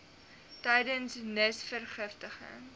tydens von nisverrigtinge